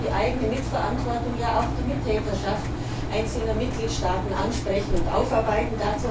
Wir müssen die Mitverantwortung, ja auch die Mittäterschaft einzelner Mitgliedstaaten ansprechen und aufarbeiten.